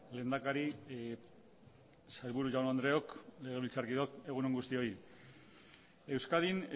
lehendakari sailburu jaun andreok legebiltzarkideok egun on guztioi euskadin